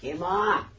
Kim o?